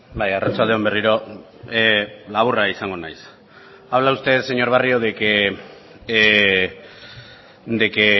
bai arratsalde on berriro laburra izango naiz habla usted señor barrio de que